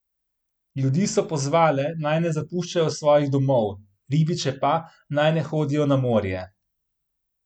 Ljudi so pozvale, naj ne zapuščajo svojih domov, ribiče pa, naj ne hodijo na morje.